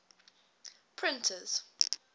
printers